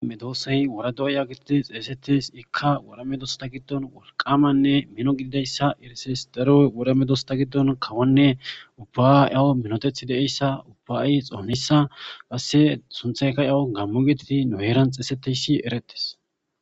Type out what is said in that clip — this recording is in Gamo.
Medoossey wora do'oya gitite xeesetes ikka wora medosta giddon wolqamanne mino gididayssa irises daro woramedosta giddon kawanne ubba7 yawo minotethi deeyssa ubba'i xoonissa qasse sunthayka yawu gammo gititi nu heeran xeeseteyssi erettes.